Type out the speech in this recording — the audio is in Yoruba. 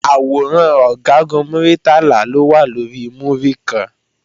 Àwòrán Ọ̀gágun Muritala ló wà lórí múríkan